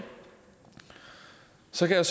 så kan